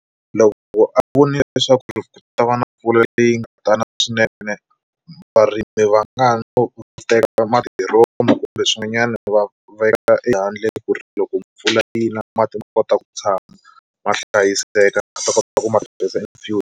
Loko a vonile leswaku ri ku ta va na mpfula leyi nga tala swinene varimi va nga no teka madiromo kumbe swin'wanyana va veka ehandle ku ri loko mpfula yi na mati ma kota ku tshama ma hlayiseka va ta kota ku ma tirhisa in future.